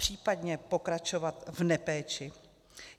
Případně pokračovat v nepéči?